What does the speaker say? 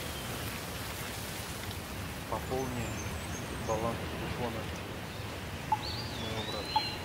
пополни баланс телефона моего брата